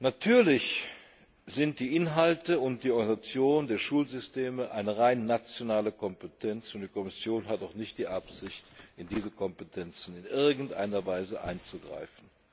Natürlich sind die Inhalte und die Organisation der Schulsysteme eine rein nationale Kompetenz und die Kommission hat auch nicht die Absicht, in diese Kompetenzen in irgendeiner Weise einzugreifen.